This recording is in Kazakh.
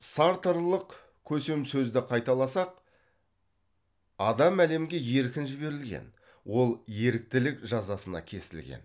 сартрлық көсемсөзді қайталасақ адам әлемге еркін жіберілген ол еріктілік жазасына кесілген